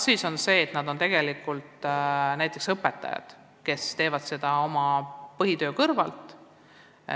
Mõned neist on tegelikult õpetajad, kes teevad tugispetsialisti tööd oma põhitöö kõrvalt.